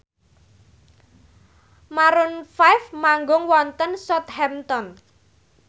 Maroon 5 manggung wonten Southampton